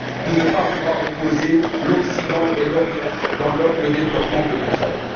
de ne pas vouloir opposer l'Occident et l'Orient dans le développement de l'Ukraine.